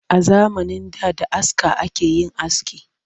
A zamanin da da aska ake yin aski